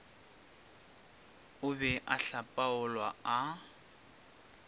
o be a hlapaolwa a